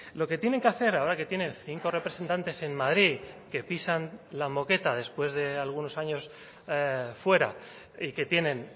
lo que tienen que hacer ahora que tienen cinco representantes en madrid que pisan la moqueta después de algunos años fuera y que tienen